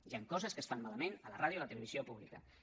hi han coses que es fan malament a la ràdio i a la televisió públiques